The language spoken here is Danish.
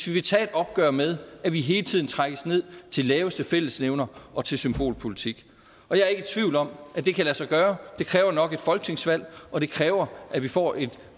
vil tage et opgør med at vi hele tiden trækkes ned til laveste fællesnævner og til symbolpolitik og jeg er ikke i tvivl om at det kan lade sig gøre det kræver nok et folketingsvalg og det kræver at vi får et